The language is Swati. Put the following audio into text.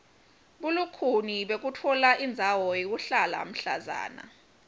bulukhuni bekutfola indzawo yekuhlala mhlazana